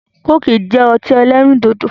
Kóòkì jẹ́ ọtí ẹlẹ́rìn dòdò